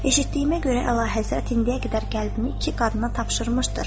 “Eşitdiyimə görə Əlahəzrət indiyə qədər qəlbini iki qadına tapşırmışdır.”